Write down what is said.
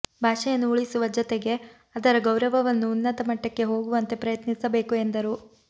ಭಾಷೆಯನ್ನು ಉಳಿಸುವ ಜೊತೆಗೆ ಅದರ ಗೌರವವನ್ನು ಉನ್ನತ ಮಟ್ಟಕ್ಕೆ ಹೋಗುವಂತೆ ಪ್ರಯತ್ನಿಸಬೇಕು ಎಂದರು